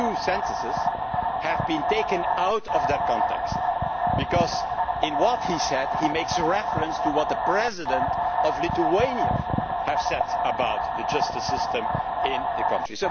Those two sentences have been taken out of context, because in what he said he makes reference to what the President of Lithuania had said about the justice system in the country.